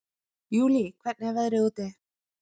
Júlí, hvernig er veðrið úti?